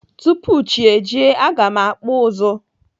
Tupu chi ejie, aga m akpụ ụzụ.